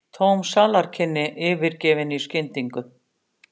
Tóm salarkynni yfirgefin í skyndingu.